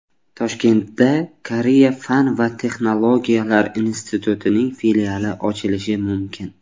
Toshkentda Koreya fan va texnologiyalar institutining filiali ochilishi mumkin.